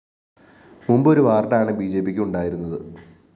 മുമ്പ് ഒരു വാര്‍ഡാണ് ബിജെപിക്കുണ്ടായിരുന്നത്